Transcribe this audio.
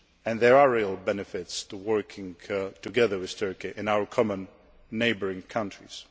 There are real benefits to working closely together with Turkey in our common neighbouring